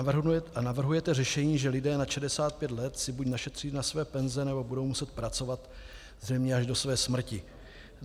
A navrhujete řešení, že lidé nad 65 let si buď našetří na své penze, nebo budou muset pracovat zřejmě až do své smrti.